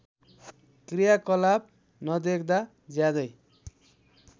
क्रियाकलाप नदेख्दा ज्यादै